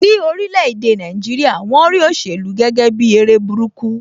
Ní orílè èdè Nàìjíríà, won rí òṣèlú gẹ́gẹ́ bi eré burúkú